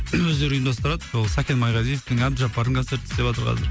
өздері ұйымдастырады ол сәкен майғазиевтің әбжаппардың концертін істеватыр қазір